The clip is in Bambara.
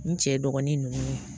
N cɛ dɔgɔnin ninnu